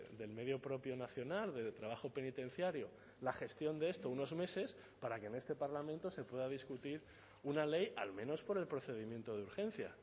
del medio propio nacional de trabajo penitenciario la gestión de esto unos meses para que en este parlamento se pueda discutir una ley al menos por el procedimiento de urgencia